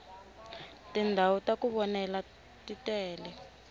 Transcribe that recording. tindhawu taku vonela titele